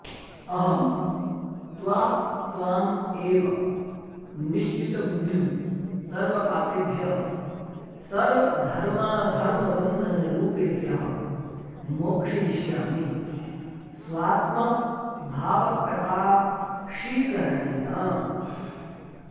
अहं त्वा त्वां एवं निश्चितबुद्धिं सर्वपापेभ्यः सर्वधर्माधर्मबन्धनरूपेभ्यः मोक्षयिष्यामि स्वात्मभावप्रकाशीकरणेन